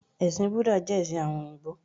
Ẹ̀sìn Búdà jẹ́ ẹ̀sìn àwọn òyìbó